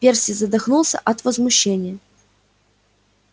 перси задохнулся от возмущения